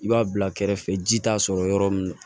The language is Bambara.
I b'a bila kɛrɛfɛ ji t'a sɔrɔ yɔrɔ min na